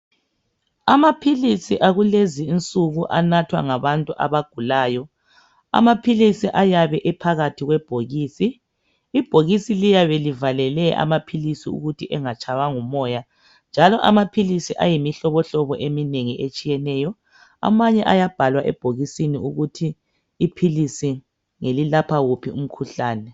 Amaphilisi akulezi nsuku anathwa ngabantu abagulayo amaphilisi ayabe ephakathi kwebhokisi ibhokisi liyabe livalele amaphilisi ukuthi angangenwa ngumoya njalo amaphilisi ayimihlobo hlobo etshiyeneyo amanye ayabhalwa ebhokisini ukuthi iphilisi lilapha uphi umkhuhlane.